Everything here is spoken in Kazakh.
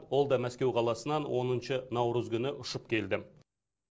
ол да мәскеу қаласынан оныншы наурыз күні ұшып келді